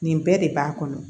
Nin bɛɛ de b'a kɔnɔ